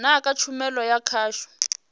na kha tshumelo ya khasho